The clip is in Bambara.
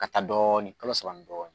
Ka taa dɔɔnin kalo saba ni dɔɔnin